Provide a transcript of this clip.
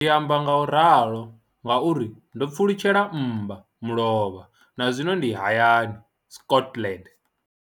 Ndi amba ngauralo nga uri ndo pfulutshela mmbamulovha na zwino ndi hayani, Scotland.